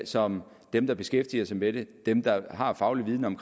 som dem der beskæftiger sig med det og dem der har faglig viden om